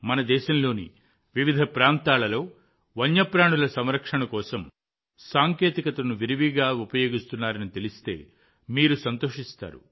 మన దేశంలోని వివిధ ప్రాంతాలలో వన్యప్రాణుల సంరక్షణ కోసం సాంకేతికతను విరివిగా ఉపయోగిస్తున్నారని తెలిస్తే మీరు సంతోషిస్తారు